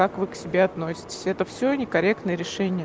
как вы к себе относитесь это все некорректное решения